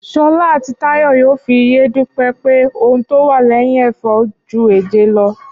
Ṣọlá àti Táyọ̀ yóò fi yé Dúpẹ́ pé ohun tó wà lẹ́yìn ẹ̀fà ju èje lọ